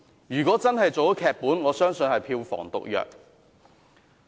如果真的拍成電影，我相信會是票房毒藥。